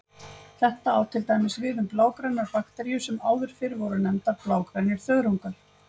Þetta á til dæmis við um blágrænar bakteríur sem áður fyrr voru nefndar blágrænir þörungar.